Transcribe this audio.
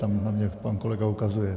Tam na mě pan kolega ukazuje.